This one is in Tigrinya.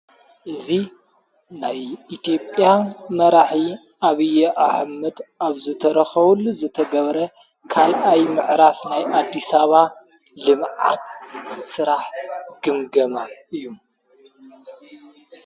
እዙ ናይ ኢቲጵያ መራሂ ኣብዪ ኣሕመድ ኣብ ዘተረኸወሉ ዘተገበረ ካልኣይ ምዕራፍ ናይ ኣዲሳባ ልምዓት ሥራሕ ግምገማ እዩ።